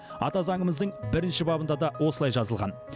ата заңымыздың бірінші бабында да осылай жазылған